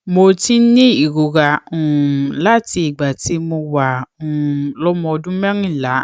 mo ti ń ní ìrora um láti ìgbà tí mo wà um lọmọ ọdún mẹrìnlá